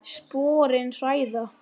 Sporin hræða.